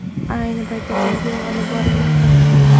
Ayni paytda tergov olib borilmoqda.